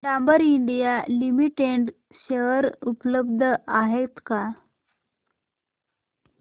Dabur India limited share उपलब्ध आहेत का